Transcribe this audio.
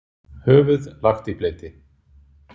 Höfuð lagt í bleyti.